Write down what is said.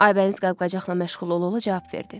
Aybəniz qab-qacaqla məşğul ola-ola cavab verdi.